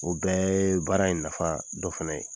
O bɛ ye baara in nafa dɔ fana ye